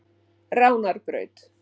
Ránarbraut